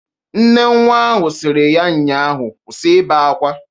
Nne nnwa ahụ siri ya nnya ahụ, "Kwụsị ibe akwa!"